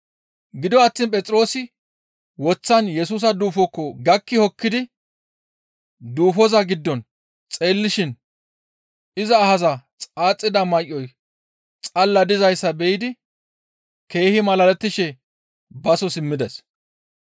Gido attiin Phexroosi woththan Yesusa duufokko gakki hokkidi duufoza giddo xeellishin iza ahaza xaaxida may7oy xalla dizayssa be7idi keehi malalettishe baso simmides.